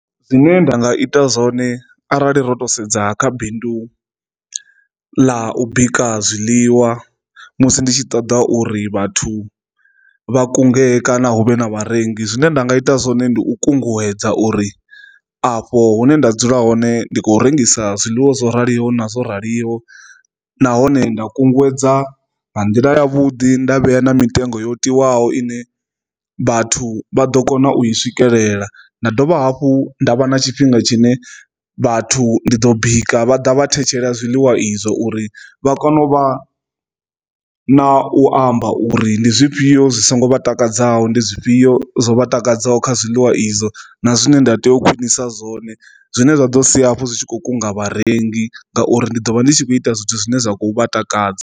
Zwine nda nga ita zwone arali ro to sedza kha bindu ḽa u bika zwiḽiwa musi nditshi ṱoḓa uri vhathu vha kungela kana hu vhe na vharengi zwine nda nga ita zwone ndi u kunguwedza uri afho hune nda dzula hone ndi khou rengisa zwiḽiwa zwo raliho na zwo raliho, nahone nda kunguwedza nga nḓila ya vhuḓi nda vhea na mitengo yo tiwaho ine vhathu vha ḓo kona u i swikelela. Nda dovha hafhu nda vha na tshifhinga tshine vhathu ndi ḓo bika vha ḓa vha thetshelesa zwiḽiwa izwo uri vha kone u vha na u amba uri ndi zwifhio zwi songo vha takadzaho ndi zwifhio zwo vha takadzaho kha zwiḽiwa izwo na zwine nda tea u khwinisa zwone zwine zwa ḓo sia hafhu zwi tshi kho kunga vharengi ngauri ndi ḓo vha ndi tshi kho ita zwithu zwine zwa khou vha takadza.